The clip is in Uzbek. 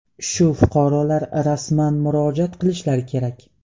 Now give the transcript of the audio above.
Shu fuqarolar rasman murojaat qilishlari kerak.